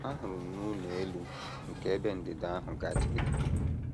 Ahụrụ m na ụlọ elu nke ebe ndịda ahụ gaje ịda.